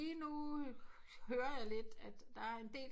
Nu hører jeg lidt at der er en del